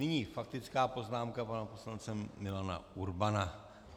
Nyní faktická poznámka pana poslance Milana Urbana.